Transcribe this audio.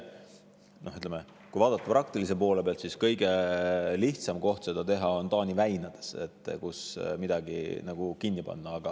Ütleme, kui vaadata praktilise poole pealt, siis kõige lihtsam koht seda teha, midagi kinni panna, on Taani väinades.